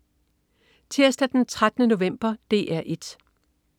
Tirsdag den 13. november - DR 1: